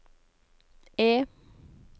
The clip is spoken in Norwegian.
E